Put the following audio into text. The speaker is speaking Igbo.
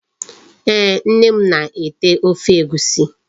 Ee, Nne m na-ete Ofe Egwusi